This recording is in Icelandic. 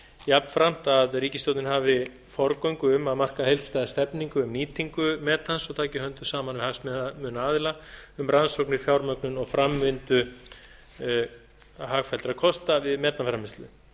jafnframt að ríkisstjórnin hafi forgöngu um að marka heildstæða stefnu um nýtingu metans og taki höndum saman við hagsmunaaðila um rannsóknir fjármögnun og framvindu hagfelldra kosta við metanframleiðslu